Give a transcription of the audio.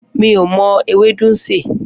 Mi ò mo̩ ewédú sè